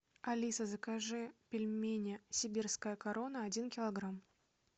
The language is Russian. алиса закажи пельмени сибирская корона один килограмм